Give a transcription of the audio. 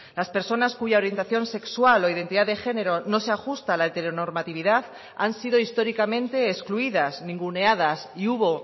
las personas cuya orientación sexual o identidad de género no se ajusta a la heteronormatividad han sido históricamente excluidas ninguneadas y hubo